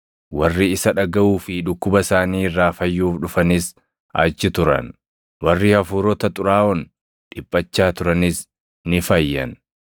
warri isa dhagaʼuu fi dhukkuba isaanii irraa fayyuuf dhufanis achi turan. Warri hafuurota xuraaʼoon dhiphachaa turanis ni fayyan;